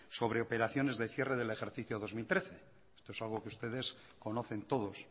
sobre operaciones de cierre del ejercicio dos mil trece esto es algo que ustedes conocen todos